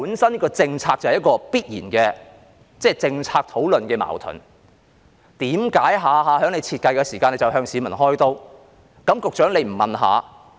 這政策本身必然有政策討論的矛盾，為何他們每次設計時都向市民開刀？